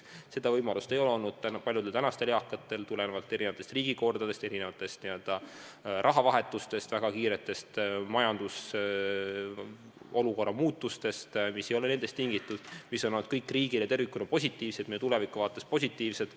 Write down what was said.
Seda võimalust ei ole väga paljudel tänastel eakatel olnud tulenevalt erinevatest riigikordadest, mitmest rahareformist, väga kiiretest majandusolukorra muutustest, mis ei ole olnud nendest tingitud ja mis on olnud kõik riigile tervikuna positiivsed, meie tuleviku vaates positiivsed.